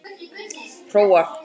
Hróar